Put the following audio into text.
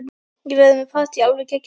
Ég verð með partí, alveg geggjað partí.